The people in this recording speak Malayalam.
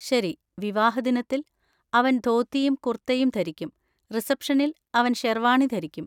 ശരി, വിവാഹദിനത്തിൽ, അവൻ ധോത്തിയും കുർത്തയും ധരിക്കും, റിസപ്ഷനിൽ അവൻ ഷെർവാണി ധരിക്കും.